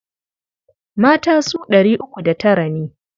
Mata su ɗari uku da tara ne.